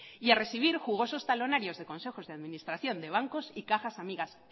y a recibir jugosos talonarios de consejos de administración de bancos y cajas amigas